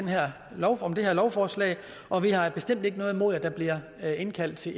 her lovforslag lovforslag og vi har bestemt ikke noget imod at der bliver indkaldt til